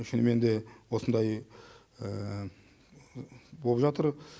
шынымен де осындай болып жатыр